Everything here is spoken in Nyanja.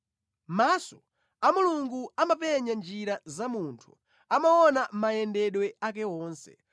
“Maso a Mulungu amapenya njira za munthu; amaona mayendedwe ake onse.